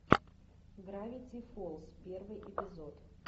гравити фолз первый эпизод